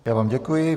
Já vám děkuji.